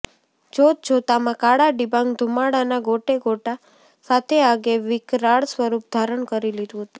જોત જોતામાં કાળા ડિબાંગ ધુમાડાના ગોટે ગોટા સાથે આગે વિકરાળ સ્વરૂપ ધારણ કરી લીધુ હતું